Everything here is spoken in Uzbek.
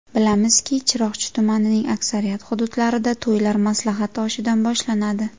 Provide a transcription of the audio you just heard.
Bilamizki, Chiroqchi tumanining aksariyat hududlarida to‘ylar maslahat oshidan boshlanadi.